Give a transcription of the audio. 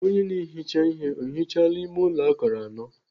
Onye na-ehicha ihe ọ hichaala ime ụlọ akara anọ?